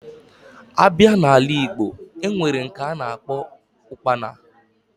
Abia na ala igbo, enwere nke ana akpo Ụkpana